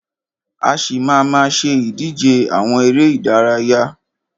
A ṣì má a má ṣe ìdíje àwọn eré ìdárayá.